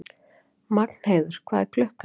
Magnheiður, hvað er klukkan?